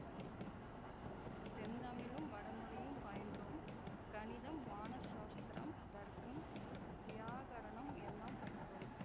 செந்தமிழும் வடமொழியும் பயின்றோம் கணிதம் வான சாஸ்திரம் தர்க்கம் வியாகரணம் எல்லாம் படித்தோம்